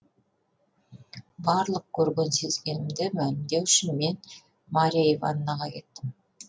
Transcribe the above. барлық көрген сезгенімді мәлімдеу үшін мен марья ивановнаға кеттім